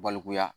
Balikuya